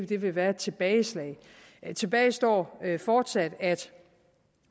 det ville være et tilbageslag tilbage står fortsat at